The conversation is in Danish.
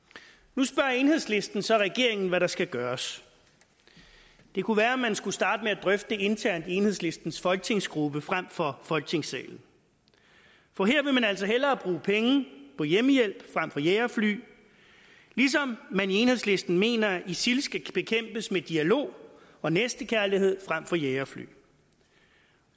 nu spørger enhedslisten så regeringen om hvad der skal gøres det kunne være man skulle starte med at drøfte det internt i enhedslistens folketingsgruppe frem for folketingssalen for her vil man altså hellere bruge penge på hjemmehjælp frem for jagerfly ligesom man i enhedslisten mener at isil skal bekæmpes med dialog og næstekærlighed frem for med jagerfly